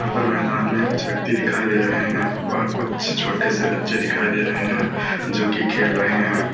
पर मैदान में कुछ व्यक्ति दिखाई दे रहे हैं और कुछ छोटे से बच्चे दिखाई दे रहे हैं जोकि खेल रहे हैं।